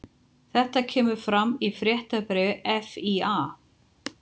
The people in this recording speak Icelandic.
Þetta kemur fram í fréttabréfi FÍA